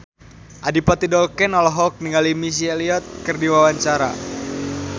Adipati Dolken olohok ningali Missy Elliott keur diwawancara